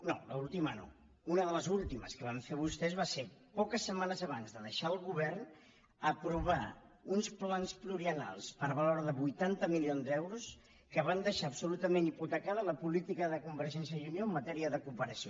no l’última no una de les últimes que van fer vostès va ser poques setmanes abans de deixar el govern aprovar uns plans pluriennals per valor de vuitanta milions d’euros que van deixar absolutament hipotecada la política de convergència i unió en matèria de cooperació